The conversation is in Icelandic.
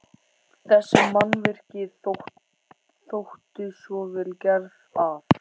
Þessi mannvirki þóttu svo vel gerð, að